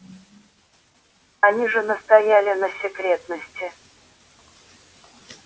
они же настояли на секретности